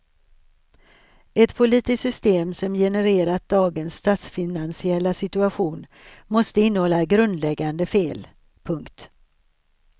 Ett politiskt system som genererat dagens statsfinansiella situation måste innehålla grundläggande fel. punkt